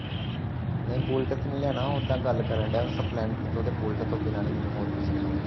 ਨਹੀ ਬੂਲੇਟ ਤਾਂ ਨਹੀ ਲੈਣਾ ਔਦਾਂ ਗੱਲ ਕਰਨਡਾਹਿਆ ਸਪਲੈਂਡਰ ਤੋਂ ਬੂਲੇਟ ਤੋਂ ਬਿਨਾਂ ਹੋਰ ਕੋਈ ਚੰਗਾ ਲੱਗਦਾ